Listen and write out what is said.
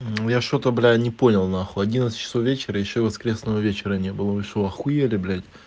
я что-то бля не понял на хуй одиннадцать вечера ещё воскресного вечера не было вы что ахуели блять